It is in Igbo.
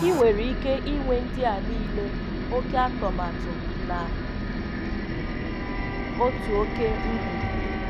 Ị̀ nwerè ikè ịnwè ndị̀ a niilè oké àtọ̀màtù na otu oké ngwùgwu.